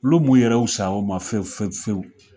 Ulu m'u yɛrɛ usay'o ma fe fe fewu